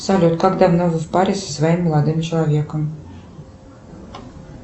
салют как давно вы в паре со своим молодым человеком